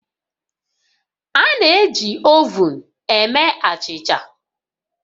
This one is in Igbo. A na-eji ovun eme achịcha